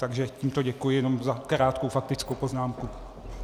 Takže tímto děkuji jenom za krátkou faktickou poznámku.